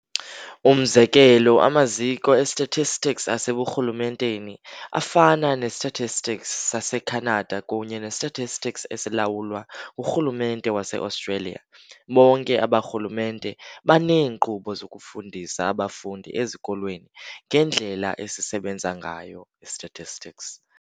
Umzekelo, Amaziko e-statistics aseburhulumenteni afana ne-Statistics saseKhanada kunye ne-Statistics esilawulwa ngurhulumente wase-Australia, bonke aba rhulumente baneenkqubo zokufundisa abafundi ezikolweni ngendlela esisebenza ngayo i-statistics.